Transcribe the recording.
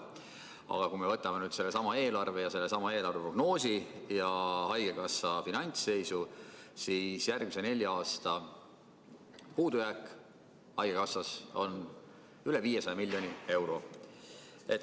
Aga kui me võtame sellesama eelarve ja sellesama eelarveprognoosi ja haigekassa finantsseisu, siis järgmise nelja aasta puudujääk haigekassas on üle 500 miljoni euro.